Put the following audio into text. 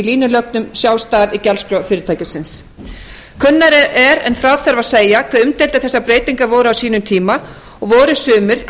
línulögnum sjálfstæðar í gjaldskrá fyrirtækisins kunnara er en frá þurfi að segja hve umdeildar þessar breytingar voru á sínum tíma og voru sumir